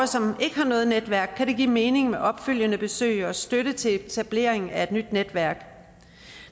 som ikke har noget netværk kan det give mening med opfølgende besøg og støtte til etablering af et nyt netværk